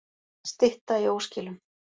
Stytta í óskilum